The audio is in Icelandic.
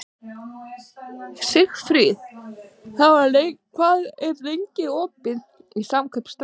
Sigfríð, hvað er lengi opið í Samkaup Strax?